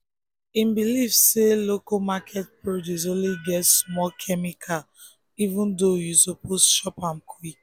him believe say local market produce only get small chemical even though you suppose chop am quick.